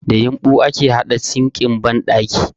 Da yumɓu ake haɗa sinkin banɗaki